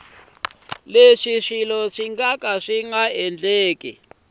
leswi swilo swi nga ta